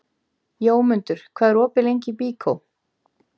Jómundur, hvað er opið lengi í Byko?